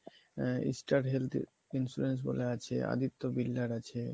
Star Health Insurance বলে আছে, Aditya builder আছে